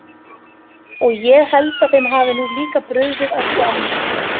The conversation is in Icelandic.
Og ég held að þeim hafi nú líka brugðið að sjá mig.